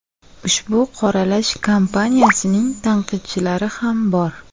Ushbu qoralash kampaniyasining tanqidchilari ham bor.